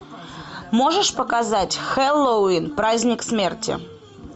можешь показать хэллоуин праздник смерти